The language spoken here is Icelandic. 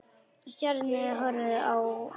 Stjáni horfði á hann.